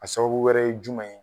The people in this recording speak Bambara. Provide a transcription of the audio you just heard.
A sababu wɛrɛ ye jumɛn ye.